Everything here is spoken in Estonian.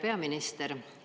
Härra peaminister!